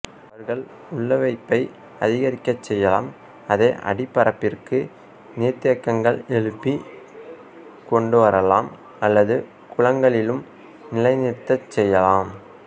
அவர்கள் உள்வைப்பை அதிகரிக்கச் செய்யலாம் அதைஅடிப்பரப்பிற்கு நீர்த்தேக்கங்கள் எழுப்பி கொண்டுவரலாம் அல்லது குளங்களிலும் நிலைநிறுத்தச் செய்யலாம்